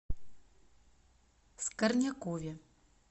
скорнякове